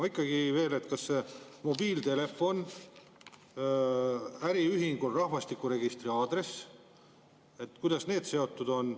Ma ikkagi küsin veel, et mobiiltelefoni number äriühingul ja rahvastikuregistri aadress, kuidas need seotud on.